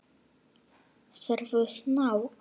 Sérðu snák?